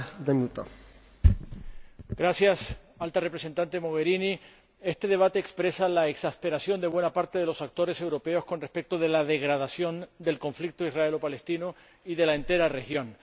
Señor Presidente, Alta Representante Mogherini, este debate expresa la exasperación de buena parte de los actores europeos con respecto de la degradación del conflicto israelo palestino y de la entera región.